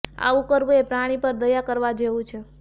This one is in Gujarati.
આવું કરવું એ પ્રાણી પર દયા કરવા જેવું છે